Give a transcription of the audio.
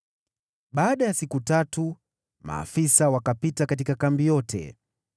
Baada ya siku tatu maafisa wakapita katika kambi yote,